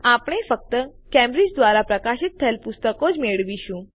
આપણે ફક્ત કેમ્બ્રિજ દ્વારા પ્રકાશિત થયેલ પુસ્તકો જ મેળવીશું